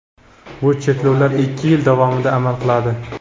Bu cheklovlar ikki yil davomida amal qiladi.